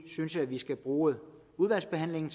synes at vi skal bruge udvalgsbehandlingen